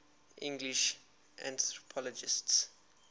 english anthropologists